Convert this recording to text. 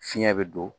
Fiɲɛ bɛ don